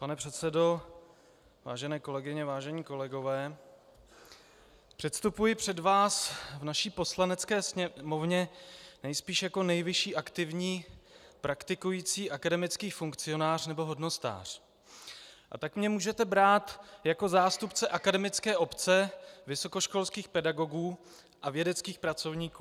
Pane předsedo, vážené kolegyně, vážení kolegové, předstupuji před vás v naší Poslanecké sněmovně nejspíš jako nejvyšší aktivní praktikující akademický funkcionář, nebo hodnostář, a tak mě můžete brát jako zástupce akademické obce, vysokoškolských pedagogů a vědeckých pracovníků.